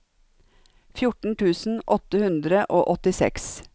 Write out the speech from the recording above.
fjorten tusen åtte hundre og åttiseks